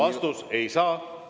Vastus: ei saa.